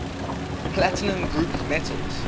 platinum group metals